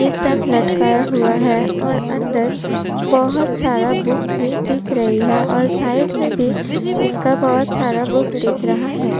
इ सब लटकाया हुआ है और अंदर बहोत सारा बुक भी दिख रही है और साइड में भी इसका बहोत सारा बुक दिख रहा है।